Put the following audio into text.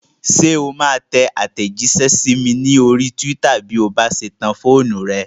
Ṣé o máa tẹ àtẹ̀jísẹ́ sí mi ní orí túwítà bí o bá ṣe tan fóònù rẹ?